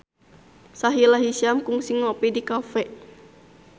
Sahila Hisyam kungsi ngopi di cafe